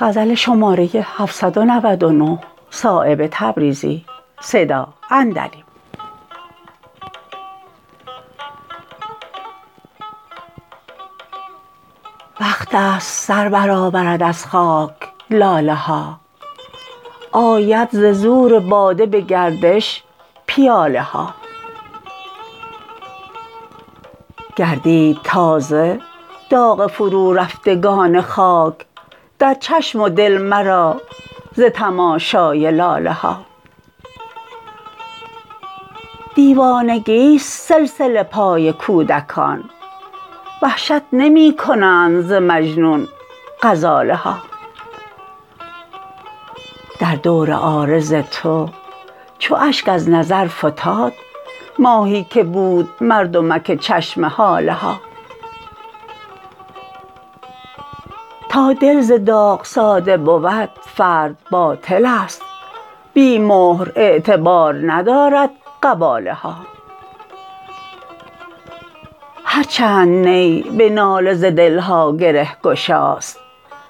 وقت است سربرآورد از خاک لاله ها آید ز زور باده به گردش پیاله ها گردید تازه داغ فرورفتگان خاک در چشم و دل مرا ز تماشای لاله ها دیوانگی است سلسله پای کودکان وحشت نمی کنند ز مجنون غزاله ها در دور عارض تو چو اشک از نظر فتاد ماهی که بود مردمک چشم هاله ها تا دل ز داغ ساده بود فرد باطل است بی مهر اعتبار ندارد قباله ها هر چند نی به ناله ز دلها گرهگشاست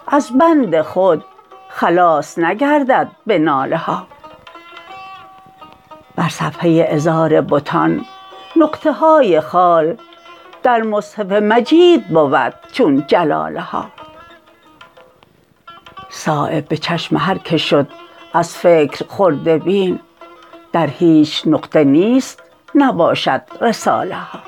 از بند خود خلاص نگردد به ناله ها بر صفحه عذار بتان نقطه های خال در مصحف مجید بود چون جلاله ها صایب به چشم هر که شد از فکر خرده بین در هیچ نقطه نیست نباشد رساله ها